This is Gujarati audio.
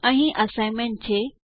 અહીં અસાઈનમેન્ટ છે